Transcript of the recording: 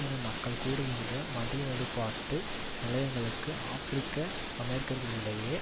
இன மக்கள் கூடுகின்ற மத வழிப்பாட்டு நிலையங்களில் ஆபிரிக்கஅமெரிக்கர்களிடையே